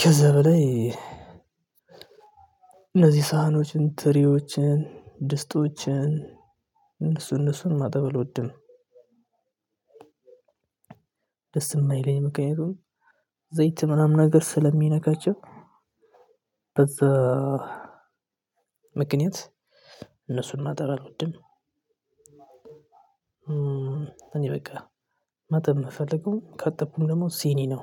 ከዛ በላይ እነዚህ ሳህኖችን ትሪዎችን ድስቶችን እነሱ እነሱን ማጠብ አልወድም። ደስ የማይለኝ ምክንያቱም ዘይት ምናምን ነገር ስለሚነካቸው በዛ ምክንያት እነሱን ማጣብ አልወድም። እኔ በቃ ማጠብ የምፈልገው ካጥብኩም ደግሞ ሲኒ ነው